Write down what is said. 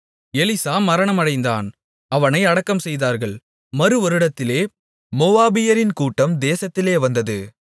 Elisha மரணமடைந்தான் அவனை அடக்கம்செய்தார்கள் மறுவருடத்திலே மோவாபியரின் கூட்டம் தேசத்திலே வந்தது